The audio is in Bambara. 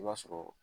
I b'a sɔrɔ